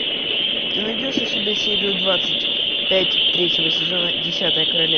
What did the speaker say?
ты найдешь у себя серию двадцать пять третьего сезона десятое королевство